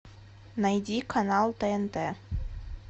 найди канал тнт